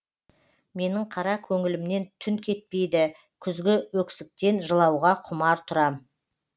менің қара көңілімнен түн кетпейді күзгі өксіктен жылауға құмар тұрам